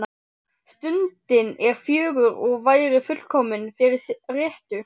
Stundin er fögur og væri fullkomin fyrir rettu.